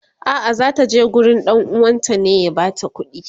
a'a zata je gurin ɗan uwanta ne ya bata kudi